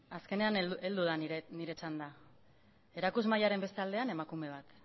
azkenean heldu da nire txanda erakusmahaiaren beste aldean emakume bat